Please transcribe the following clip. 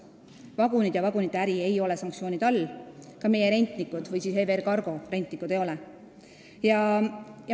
Vagunid ja vagunite äri ei ole sanktsioonide all, ka EVR Cargo rentnikud ei ole.